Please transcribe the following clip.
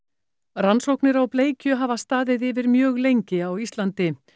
rannsóknir á bleikju hafa staðið yfir mjög lengi á Íslandi